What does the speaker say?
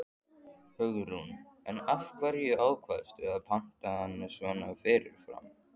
Hugrún: En af hverju ákvaðstu að panta hann svona fyrirfram?